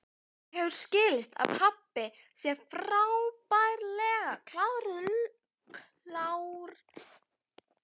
Mér hefur skilist að pabbi sé frábærlega klár lögfræðingur.